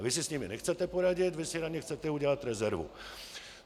A vy si s nimi nechcete poradit, vy si na ně chcete udělat rezervu.